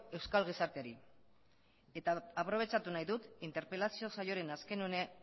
euskal gizarteari eta aprobetxatu nahi dut interpelazio saioaren azken unea